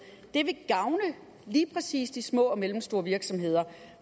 vil gavne lige præcis de små og mellemstore virksomheder